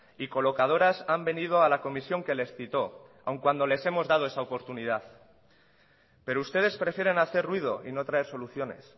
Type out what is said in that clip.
y colocadoras han venido a la comisión que les citó aun cuando les hemos dado esa oportunidad pero ustedes prefieren hacer ruido y no traer soluciones